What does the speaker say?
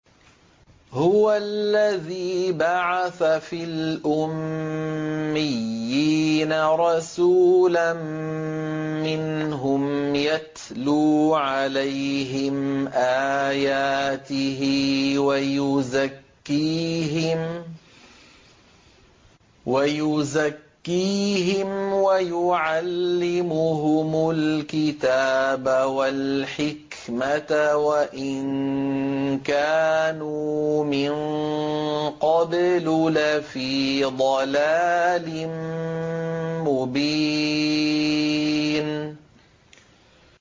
هُوَ الَّذِي بَعَثَ فِي الْأُمِّيِّينَ رَسُولًا مِّنْهُمْ يَتْلُو عَلَيْهِمْ آيَاتِهِ وَيُزَكِّيهِمْ وَيُعَلِّمُهُمُ الْكِتَابَ وَالْحِكْمَةَ وَإِن كَانُوا مِن قَبْلُ لَفِي ضَلَالٍ مُّبِينٍ